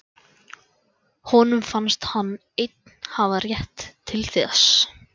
Honum fannst hann einn hafa rétt til þess.